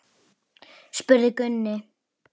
spurði Gunni.